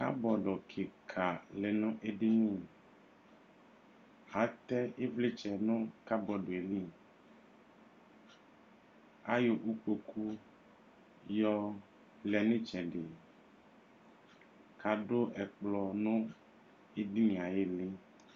Kabɔdʋ kika lɛnʋ ɛdini atɛ ivlitsɛ nʋ kabɔdʋ yɛli ava ayɔ ikpokʋ yɔlɛ nʋ itsɛdi kʋ adʋ ɛkplɔ nʋ edinie ayʋ ili